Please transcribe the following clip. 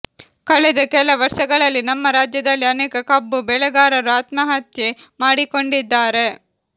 ಕಳೆದ ಕೆಲ ವರ್ಷಗಳಲ್ಲಿ ನಮ್ಮ ರಾಜ್ಯದಲ್ಲಿ ಅನೇಕ ಕಬ್ಬು ಬೆಳೆಗಾರರು ಆತ್ಮಹತ್ಯೆ ಮಾಡಿಕೊಂಡಿದ್ದಾರೆ